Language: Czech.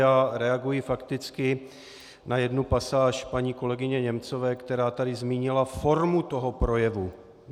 Já reaguji fakticky na jednu pasáž paní kolegyně Němcové, která tady zmínila formu toho projevu.